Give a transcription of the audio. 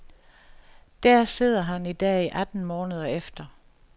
Der sidder han i dag atten måneder efter.